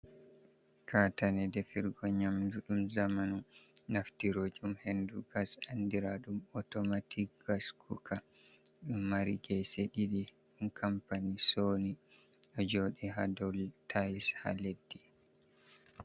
Kaatane defirgo nyamdu ɗum zamanu naftirojum henndu gas, andiraaɗum otomatik gas kuka. Ɗo mari geese ɗiɗi, ɗum kampani sooni, ɗo jooɗi haa dow tayis haa leddi.